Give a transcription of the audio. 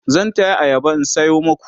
zan taya ayaba in sayo maku